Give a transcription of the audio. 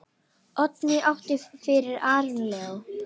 Oddný átti fyrir Aron Leó.